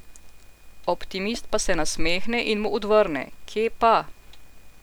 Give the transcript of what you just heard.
Optimist pa se nasmehne in mu odvrne: 'Kje pa.